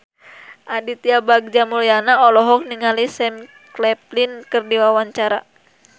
Aditya Bagja Mulyana olohok ningali Sam Claflin keur diwawancara